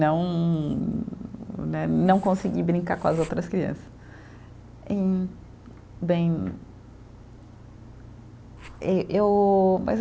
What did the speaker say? Não, né, não consegui brincar com as outras crianças. E, bem, ê eu